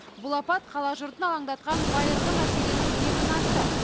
бұл апат қала жұртын алаңдатқан байырғы мәселенің бетін ашты